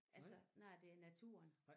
Altså når det er naturen